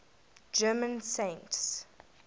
german saints